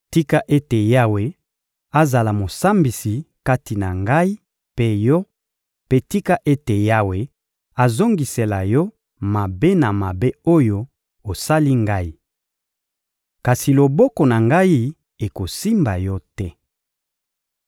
Tika ete Yawe azala Mosambisi kati na ngai mpe yo, mpe tika ete Yawe azongisela yo mabe na mabe oyo osali ngai! Kasi loboko na ngai ekosimba yo te.